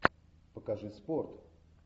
покажи спорт